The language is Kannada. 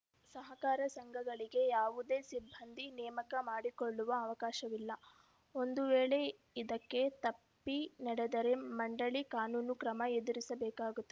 ಸಹಕಾರ ಸಂಘಗಳಿಗೆ ಯಾವುದೇ ಸಿಬ್ಬಂದಿ ನೇಮಕ ಮಾಡಿಕೊಳ್ಳುವ ಅವಕಾಶವಿಲ್ಲ ಒಂದು ವೇಳೆ ಇದಕ್ಕೆ ತಪ್ಪಿ ನಡೆದರೆ ಮಂಡಳಿ ಕಾನೂನು ಕ್ರಮ ಎದುರಿಸಬೇಕಾಗುತ್ತದೆ